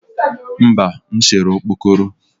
mba, m sere okpokoro